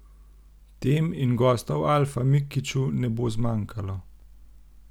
Tem in gostov alfa Mikiću ne bo zmanjkalo!